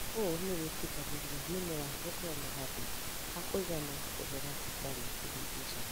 ũũ nĩ wĩtĩkĩragia mĩmera gũkorwo na handũ ha kũigana kũmera hatarĩ kũhĩngĩcana.